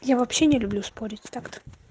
я вообще не люблю спорить так